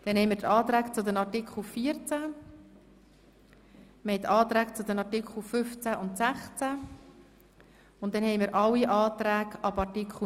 Dann folgen die Anträge zu Artikel 14, die Anträge zu den Artikeln 15 und 16 und danach alle Anträge ab Artikel 19.